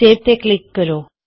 save ਤੇ click ਕਰੋ